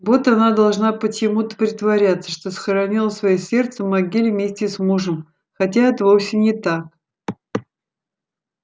вот она должна почему-то притворяться что схоронила своё сердце в могиле вместе с мужем хотя это вовсе не так